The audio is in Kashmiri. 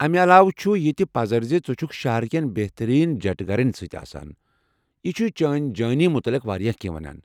امہِ علاوٕ چُھ، یتہِ پزر زِ ژٕ چھُکھ شہرٕ کٮ۪ن بہترین جٹہٕ گرین سۭتۍ آسان ، یہِ چُھ چٲنۍ جٲنی متعلق واریاہ كینہہ ونان ۔